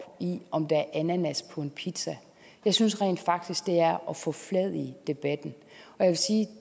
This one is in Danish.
i om der er ananas på en pizza jeg synes rent faktisk det er at forfladige debatten jeg vil sige at